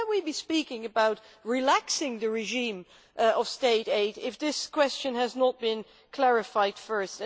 How can we be speaking about relaxing the regime of state aid if this question has not been clarified first?